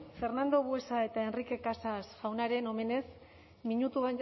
fernando buesa eta enrique casas jaunaren omenez minutu